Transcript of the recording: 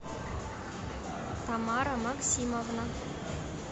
тамара максимовна